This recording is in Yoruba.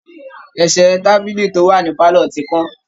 Ẹ̀sẹ̀ tábílì tó wà ní pálọ̀ ti kán